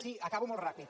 sí acabo molt ràpid